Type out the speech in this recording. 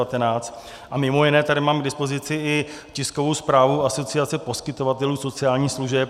A mimo jiné tady mám k dispozici i tiskovou zprávu Asociace poskytovatelů sociálních služeb.